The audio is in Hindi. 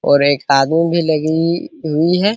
और एक आदमी भी लगी हुई है।